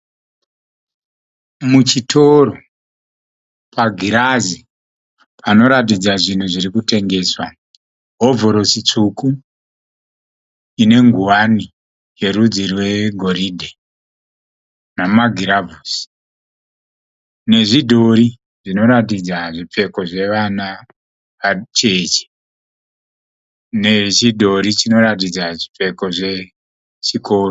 Muchitoro pagirazi panoratidza zvinhu zviri kutengeswa. Hovhorosi tsvuku ine ngowani yerudzi rwegoridhe namagiravhusi, nezvidhori zvinoratidza zvipfeko zvevana vacheche, nechidhori chinoratidza zvipfeko zvechikoro.